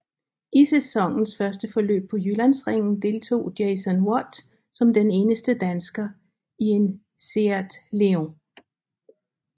I sæsonens første løb på Jyllandsringen deltog Jason Watt som den eneste dansker i en SEAT León